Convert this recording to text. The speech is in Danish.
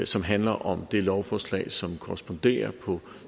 som handler om det lovforslag som korresponderer på